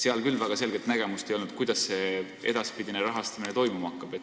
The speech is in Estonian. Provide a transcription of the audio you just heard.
Seal küll väga selget nägemust ei olnud, kuidas edaspidine rahastamine toimuma hakkab.